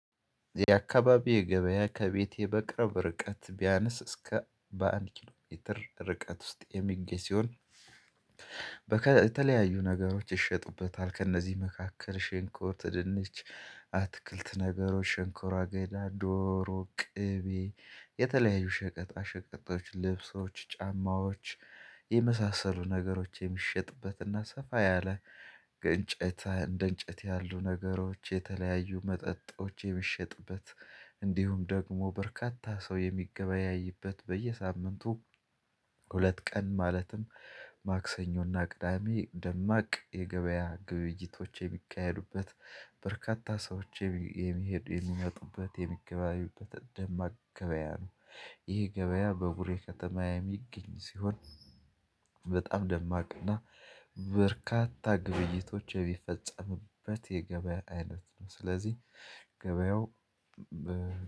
የአካባቢዬ ገበያ ከቤቴ በቅርብ ርቀት ቢያንስ እስከ በአንድ ኪሎ ሜትር ርቀት ውስጥ የሚገኝ ሲሆን የተለያዩ ነገሮች ይሸጡበታል ከእነዚህ መካከል ሽንኩርት ድንች አትክልት ነገሮች ሽንኮራ አገዳ ዶሮ ቅቤ የተለያዩ ሸቀጣ ሸቀጦዎች ልብሶች ጫማዎች የመሳሰሉ ነገሮች የሚሸጥበትና ሰፋ ያለ እንጨት እንደ እንጨት ያሉ ነገሮች የተለያዩ መጠጦች የሚሸጥበት እንዲሁም ደግሞ በርካታ ሰው የሚገበያይበት በየሳምንቱ ሁለት ቀን ማለትም ማክሰኞና ቅዳሜ ደማቅ የገበያ ግብይቶቼ የሚካሄዱበት በርካታ ሰዎች የሚሄዱ የሚመጡበት የሚገበያዩበት ደማቅ ገበያ ነው። ይህ ገበያ በቡሬ ከተማ የሚገኝ ሲሆን በጣም ደማቅና በርካታ ግብይቶች የሚፈጸምበት የገበያ አይነት ነው። ስለዚህ ገበያው